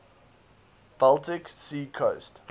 baltic sea coast